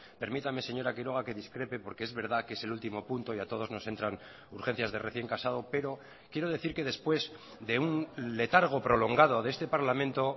permítame señora quiroga que discrepe porque es verdad que es el último punto y a todos nos entran urgencias de recién casado pero quiero decir que después de un letargo prolongado de este parlamento